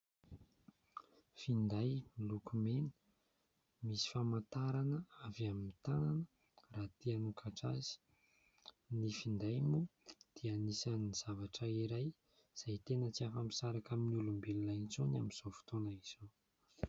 Finday miloko mena, misy famantarana avy amin'ny tanana raha te hanokatra azy. Ny finday moa dia anisan'ny zavatra iray izay tena tsy afa-misaraka amin'ny olombelona intsony amin'izao fotoana izao.